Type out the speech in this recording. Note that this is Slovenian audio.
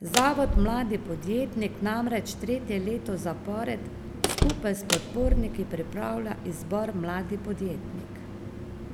Zavod mladi podjetnik namreč tretje leto zapored skupaj s podporniki pripravlja izbor Mladi podjetnik